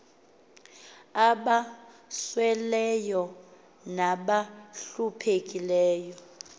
aba sweleyo nabahluphekileyo